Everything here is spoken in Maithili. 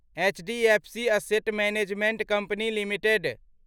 HDFC asset management company limited